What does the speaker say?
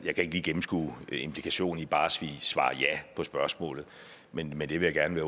ikke lige gennemskue implikationen i bare at svare ja på spørgsmålet men men det vil jeg gerne